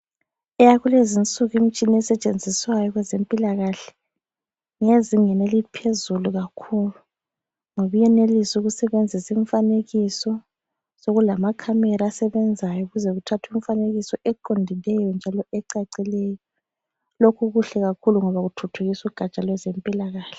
Eyakulezinsuku imitshina esetshenziswayo kwezempilakahle ngeyezingeni eliphezulu kakhulu, ngoba iyenelisa ukusebenzisa imifanekiso. Sekulama camera asebenzayo ukuze kuthathwe imifanekiso eqondileyo njalo ecacileyo. Lokhu kuhle kakhulu ngoba kuthuthukisa ugatsha lwezempilakahle.